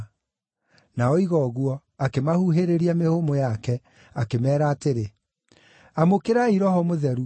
Na oiga ũguo, akĩmahuhĩrĩria mĩhũmũ yake, akĩmeera atĩrĩ, “Amũkĩrai Roho Mũtheru.